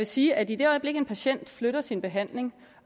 sige at i det øjeblik en patient flytter sin behandling